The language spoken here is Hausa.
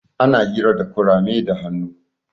Ana hira da kurame da hannu.